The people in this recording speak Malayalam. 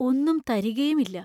ഒന്നും തരികയുമില്ല.